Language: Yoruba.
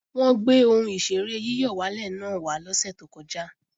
Wọ́n gbé ohùn ìṣeré yíyọ̀wálè náà wá lọ́sè tó kọjá